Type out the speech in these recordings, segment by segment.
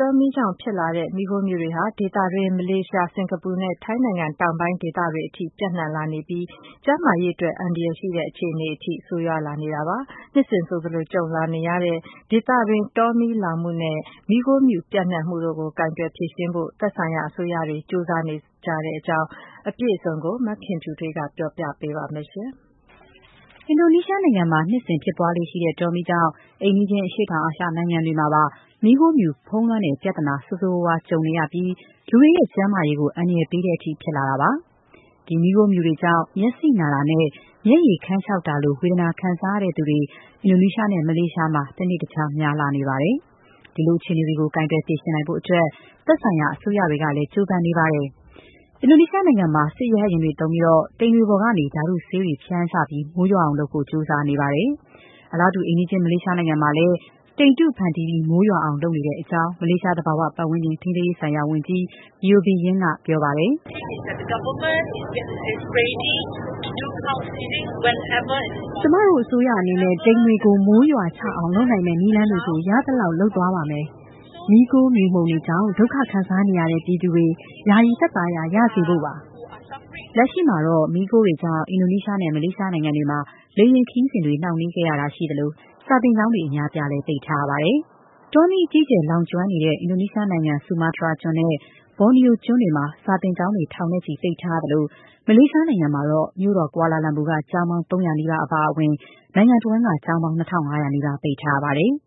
တောမီးကြောင့်ဖြစ်လာတဲ့ မီးခိုးမြူတွေဟာ ဒေသတွင်း မလေးရှား၊ စင်ကာပူနဲ့ ထိုင်းနိုင်ငံ တောင်ပိုင်းဒေသတွေအထိ ပျံ့နှံ့လာနေပြီး ကျန်းမာရေးအတွက် အန္တရာယ်ရှိတဲ့ အခြေအနေအထိ ဆိုးရွားလာနေရပါတယ်။ နှစ်စဉ်ဆိုသလို ကြုံလာနေရတဲ့ ဒေသတွင်း တောမီး လောင်ကျွမ်းမှု နဲ့ မီးခိုးမြူပျံ့နှံ့မှုကို ကိုင်တွယ်ဖြေရှင်းဖို့ သက်ဆိုင်ရာအစိုးရတွေကလည်း ကြိုးစား နေကြတာပါ။ ဒီအကြောင်း အပြည့်စုံကို မခင်ဖြူထွေးက ပြောပြပေးပါမယ်။ အင်ဒိုနီးရှားနိုင်ငံမှာ နှစ်စဉ်ဖြစ်ပွားလေ့ရှိတဲ့ တောမီးကြောင့် အိမ်နီးချင်း အရှေ့တောင်အာရှ နိုင်ငံတွေမှာ မီးခိုးမြူ ဖုံးလွှမ်းတဲ့ ပြဿနာ ဆိုးဆိုးရွားရွား ကြုံနေရပြီး လူတွေရဲ့ ကျန်းမာရေးကို အန္တရာယ်ပေးတဲ့အထိ ဖြစ်လာတာပါ။ မီးခိုးမြူတွေကြောင့် မျက်စိနာတာနဲ့ မျက်ရည် ခမ်းခြောက်တာ လို ဝေဒနာခံစားရသူတွေ အင်ဒိုနီးရှားနဲ့ မလေးရှားမှာ တနေ့တခြား များလာနေတာပါ။ ဒီလို အခြေအနေတွေကို ကိုင်တွယ် ဖြေရှင်းနိုင်ဖို့အတွက် သက်ဆိုင်ရာ အစိုးရတွေကလည်း ကြိုးစားနေပါတယ်။ အင်ဒိုနီးရှားနိုင်ငံမှာ စစ်ရဟတ်ယာဉ်တွေသုံးပြီး တိမ်တွေပေါ်ကနေ ဓာတ်တုဆေးတွေ ဖြန်းချပြီး မိုးရွာအောင်လုပ်ဖို့ ကြိုးစားနေပါတယ်။ အိမ်နီးချင်း မလေးရှားနိုင်ငံမှာလည်း အစိုးရက အလားတူ ဆောင်ရွက်နေတဲ့အကြောင်း မလေးရှား သဘာဝပတ်ဝန်းကျင် ထိန်းသိမ်းရေး ဆိုင်ရာ ဝန်ကြီး Yeo Bee Yin ကပြောပါတယ်။ "ကျမတို့အစိုးရအနေနဲ့ တိမ်တွေကို မိုးရွာချအောင် လုပ်နိုင်မယ့်နည်းလမ်းတွေကို ရသလောက် လုပ်သွားပါမယ်။ မီးခိုးမြူမှုန်တွေကြောင့် ဒုက္ခခံစားနေရတဲ့ ပြည်သူတွေ ယာယီသက်သာရာ ရစေဖို့ပါ။” လက်ရှိမှာတော့ မီးခိုးတွေကြောင့် အင်ဒိုနီးရှားနဲ့ မလေးရှားနိုင်ငံတွေမှာ လေယာဉ်ခရီးစဉ်တွေ နှောင့်နှေးခဲ့ရသလို၊ စာသင်ကျောင်းတွေ အများအပြား ပိတ်ထားရပါတယ်။ တောမီးအဓိက လောင်ကျွမ်းနေတဲ့ အင်ဒိုနီးရှားနိုင်ငံ ဆူမားတရားကျွန်းနဲ့ ဘောနီယိုကျွန်းတွေမှာ စာသင်ကျောင်းတွေ ထောင်နဲ့ချီ ပိတ်ထားရသလို၊ မလေးရှားနိုင်ငံမှာတော့ မြို့တော် ကွာလာလာမ်ပူက ကျောင်းပေါင်း ၃၀၀ နီးပါး အပါအဝင် နိုင်ငံတဝှမ်းက ကျောင်းပေါင်း ၂၅၀၀ နီးပါး ပိတ်ထားရပါတယ်။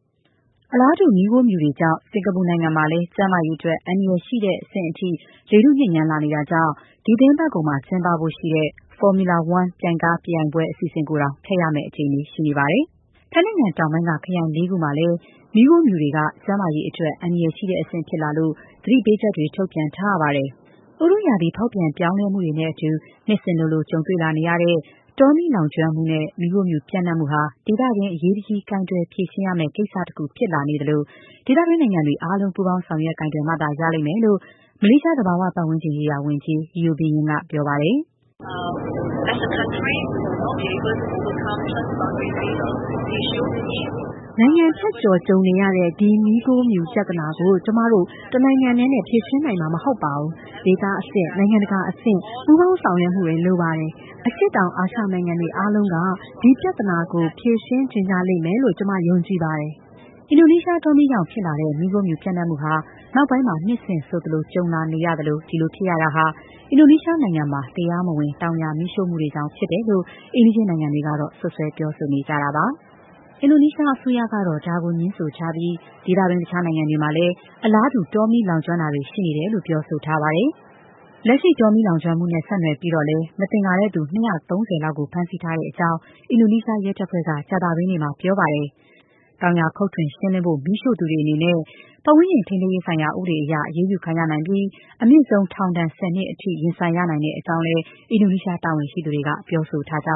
အလားတူ မီးခိုးမြူတွေကြောင့် စင်ကာပူနိုင်ငံမှာလည်း ကျန်းမာရေးအတွက် အန္တရာယ်ရှိတဲ့ အဆင့်အထိ လေထုညစ်ညမ်းလာနေတာကြောင့် ဒီသီတင်းပတ်ကုန် ကျင်းပဖို့ရှိတဲ့ Formula One ပြိုင်ကားပြိုင်ပွဲ အစီအစဉ်တောင် ဖျက်ရမယ့်အခြေအနေ ရှိနေပါတယ်။ ထိုင်းနိုင်ငံ တောင်ပိုင်းက ခရိုင်လေးခုမှာလည်း မီးခိုးမြူတွေက ကျန်းမာရေးအတွက် အန္တရာယ်ရှိတဲ့အဆင့် ဖြစ်လာလို့ သတိပေးချက်တွေ ထုတ်ပြန်ထားရပါတယ်။ ဥတုရာသီ ဖောက်ပြန်ပြောင်းလဲမှုတွေနဲ့ အတူ နှစ်စဉ်လိုလို ကြုံတွေ့လာနေရတဲ့ တောမီး လောင်ကျွမ်းမှုဟာ ဒေသတွင်း အရေးတကြီး ကိုင်တွယ်ဖြေရှင်းရမယ့် ကိစ္စတခုဖြစ်လာနေသလို၊ ဒေသတွင်းနိုင်ငံတွေ ပူးပေါင်းဆောင်ရွက် ကိုင်တွယ်မှရလိမ့်မယ်လို့ မလေးရှား သဘာ၀ ပတ်ဝန်းကျင်ရေးရာ ဝန်ကြီး Yeo Bee Yin က ပြောပါတယ်။ "နိုင်ငံဖြတ်ကျော် ကြုံနေရတဲ့ ဒီမီးခိုးမြူ ပြဿနာကို ကျမတို့ တနိုင်ငံတည်းနဲ့ ဖြေရှင်းနိုင်မှာ မဟုတ်ပါဘူး။ ဒေသအဆင့်၊ နိုင်ငံတကာအဆင့် ပူးပေါင်းဆောင်ရွက်မှုတွေ လိုပါတယ်။ အရှေ့တောင်အာရှနိုင်ငံတွေ အားလုံးက ဒီပြဿနာကို ဖြေရှင်းချင်ကြ လိမ့်မယ်လို့ ကျမ ယုံကြည်ပါတယ်။” အင်ဒိုနီးရှားတောမီးကြောင့်ဖြစ်လာတဲ့ မီးခိုးမြူပျံ့နှံ့မှုဟာ နောက်ပိုင်း နှစ်စဉ်ဆိုသလို ကြုံလာနေရသလို၊ ခုလိုဖြစ်ရတာဟာ အင်ဒိုနီးရှား နိုင်ငံမှာ တရားမဝင် တောင်ယာ မီးရှို့မှုတွေကြောင့် ဖြစ်တယ်လို့ အိမ်နီးချင်းနိုင်ငံတွေက စွပ်စွဲပြောဆိုနေတာပါ။ အင်ဒိုနီးရှားအစိုးရ ကတော့ ဒါကို ငြင်းဆိုထားပြီး ဒေသတွင်း တခြားနိုင်ငံတွေမှာလည်း အလားတူ တောမီး လောင်ကျွမ်းတာတွေ ရှိနေတဲ့အကြောင်း ပြောဆိုထားပါတယ်။ လက်ရှိ တောမီးလောင်ကျွမ်းမှုတွေနဲ့ ဆက်နွယ်ပြီးတော့လည်း မသင်္ကာသူတဲ့သူ၂၃၀ လောက်ကို ဖမ်းဆီးထားကြောင်း အင်ဒိုနီးရှား ရဲတပ်ဖွဲ့က ကြာသပတေးနေ့က ပြောပါတယ်။ တောင်ယာ ခုတ်ထွင်ရှင်းလင်းဖို့ မီးရှို့သူတွေ အနေနဲ့ ပတ်ဝန်းကျင် ထိန်းသိမ်းရေးဆိုင်ရာ ဥပဒေအရ အရေးယူခံရနိုင်ပြီး၊ အမြင့်ဆုံး ထောင်ဒဏ် ၁၀ နှစ် အထိလည်း ရင်ဆိုင်ရနိုင်ကြောင်းလည်း အင်ဒိုနီးရှား တာဝန်ရှိသူတွေက ပြောဆိုထားပါ